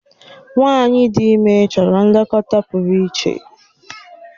Nwanyi ịdị ime chọrọ nlekọta pụrụ iche.